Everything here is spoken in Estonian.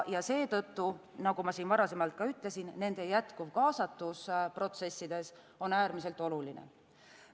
Seetõttu, nagu ma varasemalt ütlesin, nende jätkuv kaasatus protsessidesse on äärmiselt oluline.